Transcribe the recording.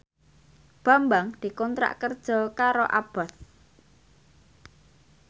Bambang dikontrak kerja karo Abboth